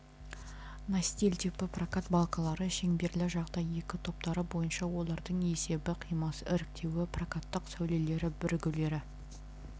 настил типі прокат балкалары шеңберлі жағдай екі топтары бойынша олардың есебі қимасы іріктеуі прокаттық сәулелер бірігулері